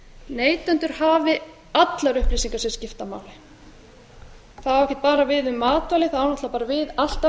neytendur hafi allar upplýsingar til skiptanna það á ekki bara við um matvæli það á náttúrlega bara við að markaðurinn virkar alltaf